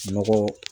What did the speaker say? Nɔgɔ